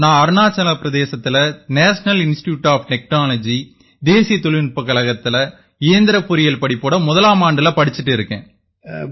நான் அருணாச்சல பிரதேசத்தின் national institute of technology தேசிய தொழில்நுட்பக் கழகத்தில இயந்திரப் பொறியியல் படிப்போட முதலமாண்டுல படிச்சுட்டு இருக்கேன்